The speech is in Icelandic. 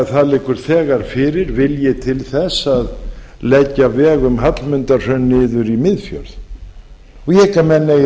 það liggur því þegar fyrir vilji til þess að leggja veg um hallmundarhraun niður í miðfjörð ég hygg að menn eigi